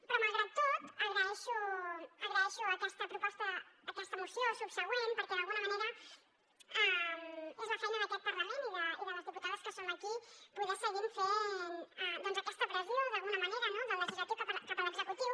però malgrat tot agraeixo aquesta moció subsegüent perquè d’alguna manera és la feina d’aquest parlament i de les diputades que som aquí poder seguir fent doncs aquesta pressió d’alguna manera no del legislatiu cap a l’executiu